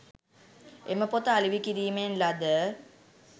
එම පොත අලෙවි කිරීමෙන් ලද